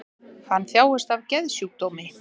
Hann þjáist af geðsjúkdómi